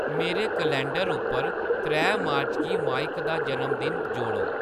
मेरे कलैंडर उप्पर त्रै मार्च गी माइक दा जनमदिन जोड़ो